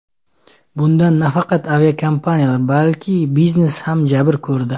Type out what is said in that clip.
Bundan nafaqat aviakompaniyalar, balki biznes ham jabr ko‘rdi.